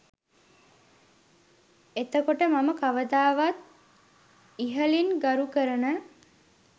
එතකොට මම කවදත් ඉහලින් ගරු කරන